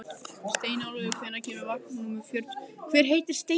Steinólfur, hvenær kemur vagn númer fjörutíu og fjögur?